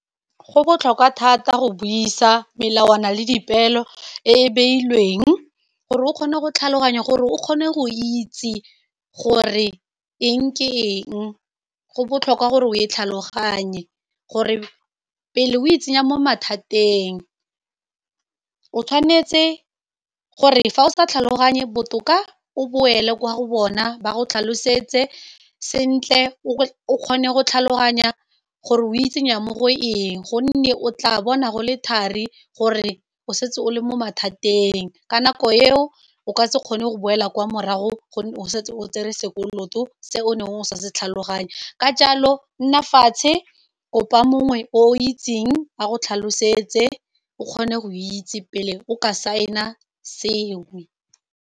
Go botlhokwa thata go buisa melawana le dipelo e e beilweng gore o kgone go tlhaloganya gore o kgone go itse gore eng ke eng, go botlhokwa gore o e tlhaloganye gore pele o itsenya mo mathateng o tshwanetse gore fa o sa tlhaloganye botoka o boela kwa go bona ba go tlhalosetse sentle o kgone go tlhaloganya gore o itsenya mo go eng, gonne o tla bona go le thari gore o setse o le mo mathateng ka nako eo o ka se kgone go boela kwa morago go o setse o tsere sekoloto se o ne o sa se tlhaloganye ka jalo nna fatshe kopa mongwe o itseng a go tlhalosetse o kgone go itse pele o ka sign-a sengwe.